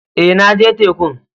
Eh, na je tekun.